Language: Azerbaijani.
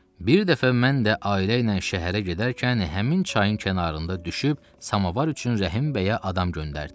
Bir dəfə mən də ailə ilə şəhərə gedərkən həmin çayın kənarında düşüb samovar üçün Rəhim bəyə adam göndərdim.